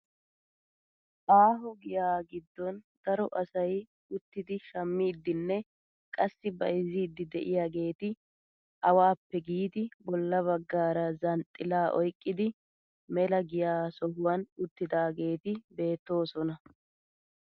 Aaho giyaa giddon daro asay uttidi shammidinne qassi bayzziidi de'iyaageti awaappe giidi bolla baggaara zanxxilaa oyqqidi mela giyaa sohuwaan uttidaageti beettoosona!